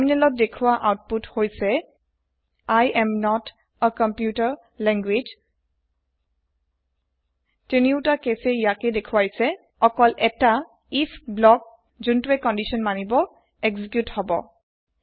তাৰমিনেলত দেখুৱা অউতপুত হৈছে I am not a computer language তিনিউতা কেছে ইয়াকে দেখুয়াইছে অকল এটা আইএফ ব্লক যোনটোৱে কন্দিছন মানিব এক্সিকিওত হব